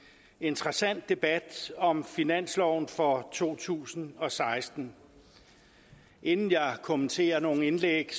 interessant debat om finansloven for to tusind og seksten inden jeg kommenterer nogen indlæg